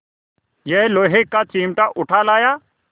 यह लोहे का चिमटा उठा लाया